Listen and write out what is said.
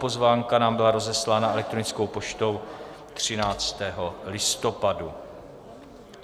Pozvánka nám byla rozeslána elektronickou poštou 13. listopadu.